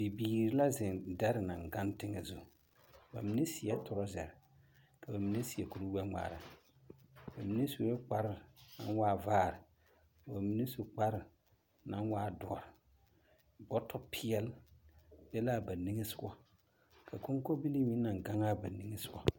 Bibiir la zeŋ dare naŋ gaŋ teŋɛ zu. Ba mine seɛɛ torasare, ka ba mine seɛ kurgbɛŋmaara. Ba mine su la kpar naŋ waa vaar. Ka ba mine su kpar naŋ waa doɔ. Bɔtɔ peɛl be laa ba niŋe sogɔ, ka koŋko bilii meŋ naŋ gaŋaa ba niŋe sogɔ.